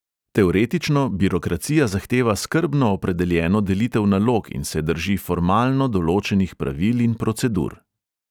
Teoretično birokracija zahteva skrbno opredeljeno delitev nalog in se drži formalno določenih pravil in procedur.